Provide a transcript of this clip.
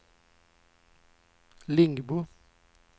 Lingbo